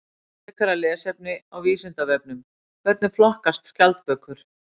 Frekara lesefni á Vísindavefnum: Hvernig flokkast skjaldbökur?